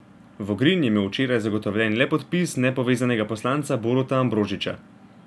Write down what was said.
Vogrin je imel včeraj zagotovljen le podpis nepovezanega poslanca Boruta Ambrožiča.